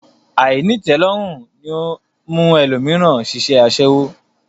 Àìnítẹ̀ẹ́lọ́rùn ní mú ẹlòmíràn ṣiṣẹ́ aṣẹ́wó